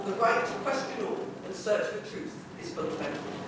The right to question all and search for truth is fundamental.